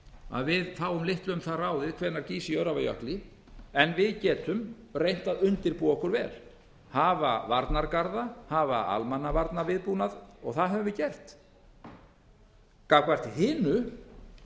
að við fáum litlu um það ráðið hvenær gýs í öræfajökli en við getum reynt að undirbúa okkur vel hafa varnargarða hafa almannavarnaviðbúnað og það höfum við gert gagnvart hinu